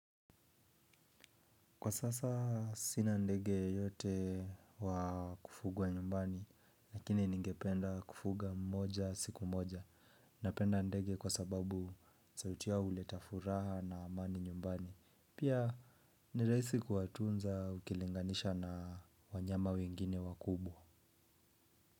Kwa sasa sinandege yote wakufugwa nyumbani, lakini ningependa kufuga mmoja siku mmoja. Napenda ndege kwa sababu sauti yao uleta furaha na amani nyumbani pia ni rahisi kuwatunza ukilinganisha na wanyama wengine wakubwa.